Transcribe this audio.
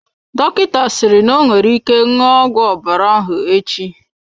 Dọkịta sịrị n'onwere ike ṅụọ ọgwụ ọbara ahụ echi.